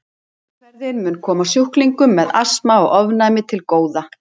Meðferðin mun koma sjúklingum með astma og ofnæmi til góða.